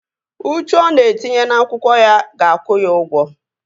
Uchu ọ na-etinye n'akwụkwọ ya ga-akwụ ya ụgwọ